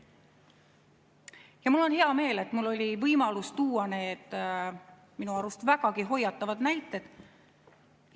Ja mul on hea meel, et mul oli võimalus tuua need minu arust vägagi hoiatavad näited.